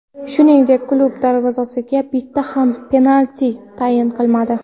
Shuningdek, klub darvozasiga bitta ham penalti tayin qilmadi.